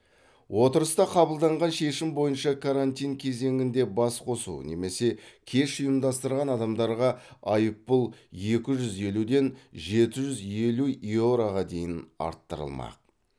отырыста қабылданған шешім бойынша карантин кезеңінде басқосу немесе кеш ұйымдастырған адамдарға айыппұл екі жүз елуден жеті жүз елу еуроға дейін арттырылмақ